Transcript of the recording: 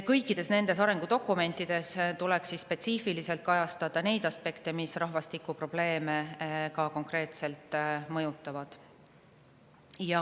Kõikides nendes arengudokumentides tuleks spetsiifiliselt kajastada aspekte, mis rahvastikuprobleeme konkreetselt mõjutavad.